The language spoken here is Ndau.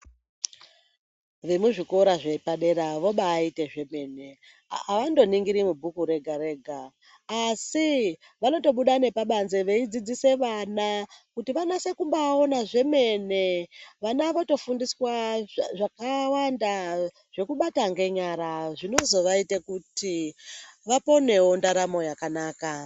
Vemuzvikora zvepadera vobaita zvemene, hawangoningiri mubook rega rega asi wanotobuda nepabanze veidzidzisa vana kuti vanatse kubaona zvemene, vana votofundiswa zvemene zvekubata nenyara zvinozowaita kuti waponewo ndaramo yakanaka.